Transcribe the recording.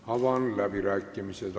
Avan läbirääkimised.